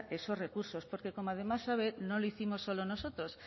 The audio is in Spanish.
esos recursos porque como además sabe no lo hicimos solo nosotros